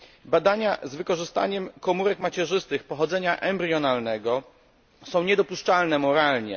Badania z wykorzystaniem komórek macierzystych pochodzenia embrionalnego są niedopuszczalne moralnie.